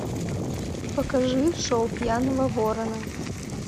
покажи шоу пьяного ворона